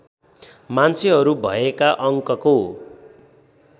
मान्छेहरू भएका अङ्कको